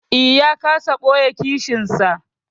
Eh, ya kasa ɓoye kishinsa.